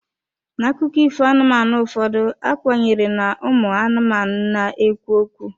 N'akụkọ ifo anụmanụ ụfọdụ, a kwenyere na ụmụ anụmanụ na-ekwu okwu.